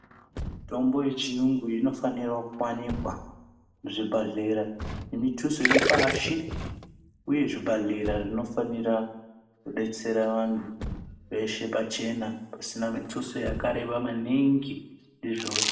Mitombo yechiyungu inofanira kuwanikwa muzvibhedhlera ngemithuso iri pashi uye zvibhedhlera zvinofanira kudetsera vantu veshe pachena usina mithuso yakareba maningi murikuzviona